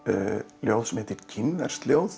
ljóð sem heitir kínverskt ljóð